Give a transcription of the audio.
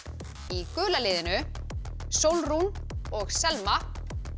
í gula liðinu Sólrún og Selma